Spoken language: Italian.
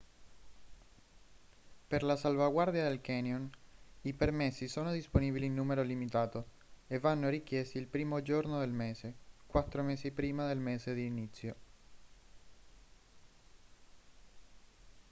per la salvaguardia del canyon i permessi sono disponibili in numero limitato e vanno richiesti il primo giorno del mese quattro mesi prima del mese di inizio